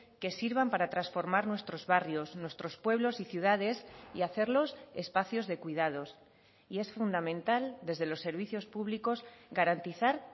que sirvan para transformar nuestros barrios nuestros pueblos y ciudades y hacerlos espacios de cuidados y es fundamental desde los servicios públicos garantizar